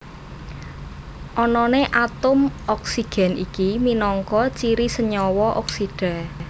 Anané atom oksigen iki minangka ciri senyawa oksida